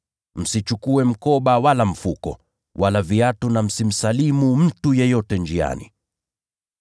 Msichukue mkoba, wala mfuko, wala viatu, na msimsalimu mtu yeyote njiani.